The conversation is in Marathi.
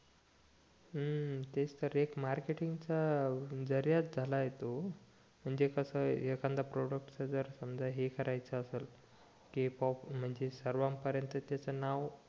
हम्म तेच तर एक मार्केटिंग चा जरियाचं झालाय तो म्हणजे कस एखाद्या प्रॉडक्ट्स च जर समजा हे करायचं असेल कि सर्वान परेंत त्याच नाव